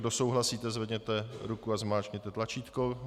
Kdo souhlasíte, zvedněte ruku a zmáčkněte tlačítko.